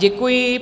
Děkuji.